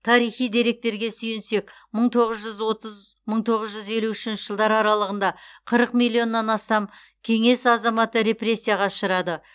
тарихи деректерге сүйенсек мың тоғыз жүз отыз мың тоғыз жүз елу үшінші жылдар аралығында қырық миллионнан астам кеңес азаматы репрессияға ұшырады